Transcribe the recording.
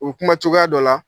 U bi kuma cogoya dɔ la.